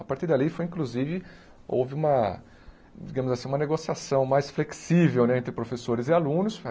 A partir dali foi, inclusive, houve uma, digamos assim, uma negociação mais flexível né entre professores e alunos.